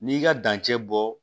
N'i ka dancɛ bɔ